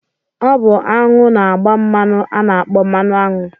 Ọ bụ aṅụ na-agba mmanụ a na-akpọ̣ mmanụaṅụ